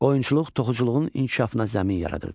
Qoyunçuluq toxuculuğun inkişafına zəmin yaradırdı.